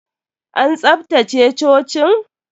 An tsaftace cocin?